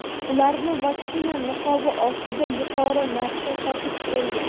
ularni vaksina niqobi ostida yuqori narxda sotib kelgan.